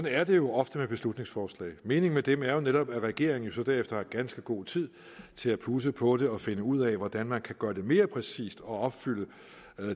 er det jo ofte med beslutningsforslag meningen med dem er jo netop at regeringen så derefter har ganske god tid til at pudse på det og finde ud af hvordan man kan gøre det mere præcist og opfylde